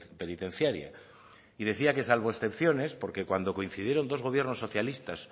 penitenciaria y decía que salvo excepciones porque cuando coincidieron dos gobiernos socialistas